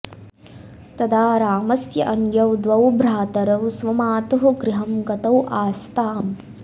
तदा रामस्य अन्यौ द्वौ भ्रातरौ स्वमातुः गृहं गतौ आस्ताम्